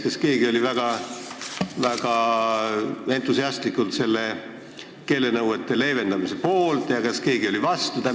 Kas keegi oli väga entusiastlikult leevendamise poolt ja kas keegi oli vastu?